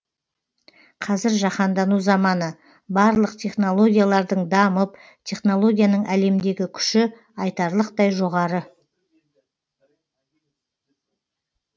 қазір жаһандану заманы барлық технологиялардың дамып технологияның әлемдегі күші айтарлықтай жоғары